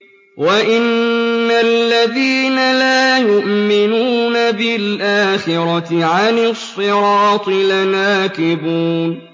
وَإِنَّ الَّذِينَ لَا يُؤْمِنُونَ بِالْآخِرَةِ عَنِ الصِّرَاطِ لَنَاكِبُونَ